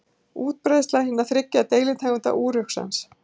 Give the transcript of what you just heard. Útbreiðsla hinna þriggja deilitegunda úruxans.